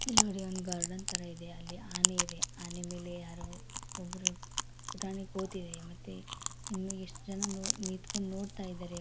ಇಲ್ ನೋಡ್ರಿ ಒಂದು ಗಾರ್ಡನ್ ಥರ ಇದೆ ಅಲ್ಲಿ ಆನೆ ಇದೆ ಆ ಆನೆ ಮೇಲೆ ಯಾರೋ ಒಬ್ರು ಪುಟಾಣಿ ಕೂತಿದೆ ಮತ್ತೆ ಇನ್ನು ಎಷ್ಟ್ ಜನ ನೋಡ್ ನಿಂತ್ಕೊಂಡ್ ನೋಡ್ತಿದಾರೆ.